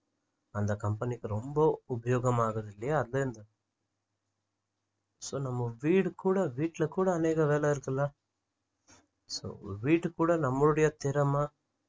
அந்த company க்கு ரொம்ப உபயோகம் ஆகுது இல்லையா அதுல இந்த so நம்ம வீடு கூட வீட்டுல கூட அனேக வேலை இருக்குல so ஒரு வீட்டுக்கு கூட நம்மளோட திறமை